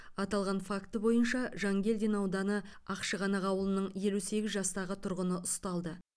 аталған факті бойынша жангелдин ауданы ақшығанақ ауылының елу сегіз жастағы тұрғыны ұсталды